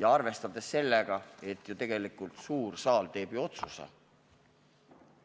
Ja arvestades seda, et suur saal teeb ju tegelikult otsuse,